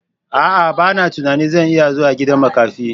A'a! Bana tunanin zan iya zuwa gidan makafi.